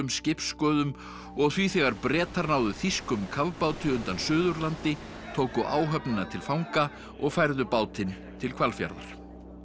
skipssköðum og því þegar Bretar náðu þýskum kafbáti undan Suðurlandi tóku áhöfnina til fanga og færðu bátinn til Hvalfjarðar